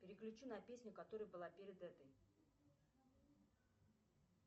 переключи на песню которая была перед этой